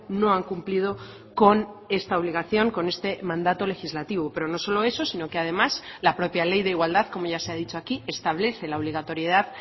no han cumplido con esta obligación con este mandato legislativo pero no solo eso sino que además la propia ley de igualdad como ya se ha dicho aquí establece la obligatoriedad